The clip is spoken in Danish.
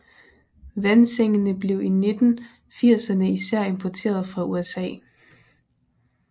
Vandsengene blev i 1980erne især importeret fra USA